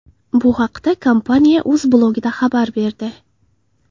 Bu haqda kompaniya o‘z blogida xabar berdi .